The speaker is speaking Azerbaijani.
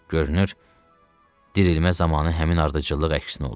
Görünür, dirilmə zamanı həmin ardıcıllıq əksinə olur.